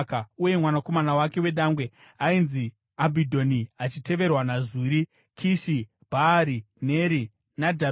uye mwanakomana wake wedangwe ainzi Abhidhoni, achiteverwa naZuri, Kishi, Bhaari, Neri, Nadhabhi,